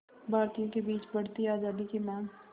भारतीयों के बीच बढ़ती आज़ादी की मांग